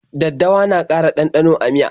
Daddawa na ƙara ɗanɗano a miya.